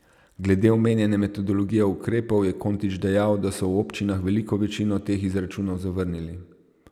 Glede omenjene metodologije ukrepov je Kontič dejal, da so v občinah veliko večino teh izračunov zavrnili.